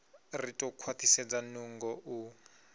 ri ḓo khwaṱhisedza nungo u